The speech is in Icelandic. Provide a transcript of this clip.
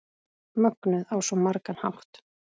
Mögnuð á svo margan hátt.